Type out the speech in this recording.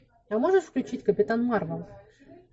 а можешь включить капитан марвел